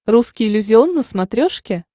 русский иллюзион на смотрешке